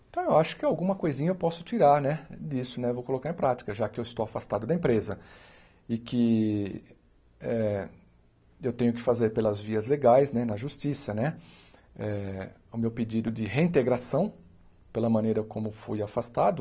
Então, eu acho que alguma coisinha eu posso tirar né disso né, vou colocar em prática, já que eu estou afastado da empresa e que eh eu tenho que fazer pelas vias legais né, na justiça né, eh o meu pedido de reintegração, pela maneira como fui afastado,